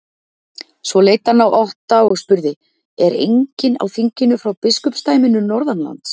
Svo leit hann á Otta og spurði:-Er enginn á þinginu frá biskupsdæminu norðanlands?